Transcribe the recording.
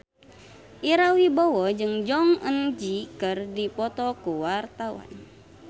Ira Wibowo jeung Jong Eun Ji keur dipoto ku wartawan